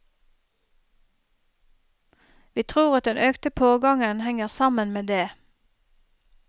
Vi tror at den økte pågangen henger sammen med det.